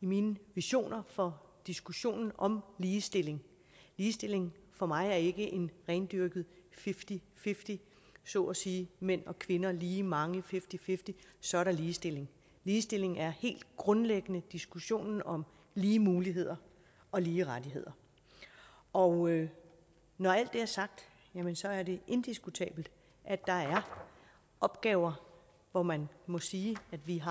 i mine visioner for diskussionen om ligestilling ligestilling for mig er ikke en rendyrket fifty fifty så at sige mænd og kvinder lige mange fifty fifty så er der ligestilling ligestilling er helt grundlæggende diskussionen om lige muligheder og lige rettigheder og når alt det er sagt så er det indiskutabelt at der er opgaver hvor man må sige at vi